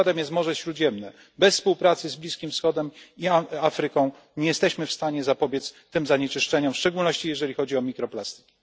Przykładem jest Morze Śródziemne bez współpracy z Bliskim Wschodem i Afryką nie jesteśmy w stanie zapobiec tym zanieczyszczeniom, w szczególności jeżeli chodzi o mikroplastiki.